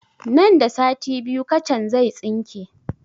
Nan da sati biyu kacan zai tsinke